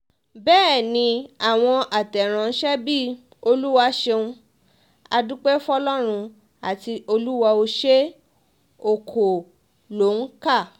bẹ́ẹ̀ ni àwọn àtẹ̀rànṣe bíi olúwa ṣeun á dúpẹ́ fọlọ́run àti olúwa ò ṣe o kò lóǹkà